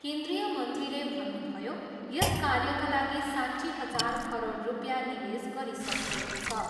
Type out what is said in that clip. केन्द्रीय मन्त्रीले भन्नुभयो, यस कार्यका लागि साट्ठी हजार करोड रुपियाँ निवेश गरिसकिएको छ।